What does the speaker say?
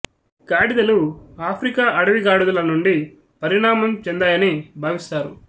గాడిదలు ఆఫ్రికా అడవి గాడిదల నుండి పరిణామం చెందాయని భావిస్తారు